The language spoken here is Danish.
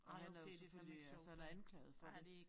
Og han er jo selvfølgelig øh så han er anklaget for det